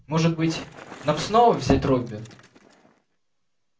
может быть нам снова взять робби